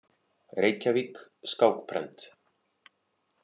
Reykjavík: Skákprent.